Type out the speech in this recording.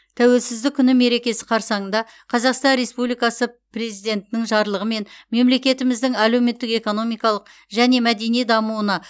тәуелсіздік күні мерекесі қарсаңында қазақстан республикасы президентінің жарлығымен мемлекетіміздің әлеуметтік экономикалық және мәдени дамуына